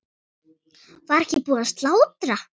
Var ekki búið að slátra?